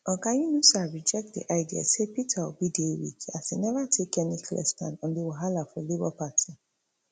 oga yunusa reject di idea say peter obi dey weak as e neva take any clear stand on di wahala for labour party